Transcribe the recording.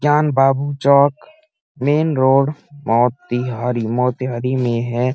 जान बाबू चौक मैंनरोड मोतीहारी मोतीहारी मे है।